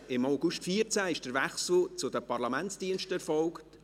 Im August 2014 erfolgte der Wechsel zu den PARL.